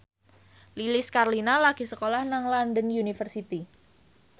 Lilis Karlina lagi sekolah nang London University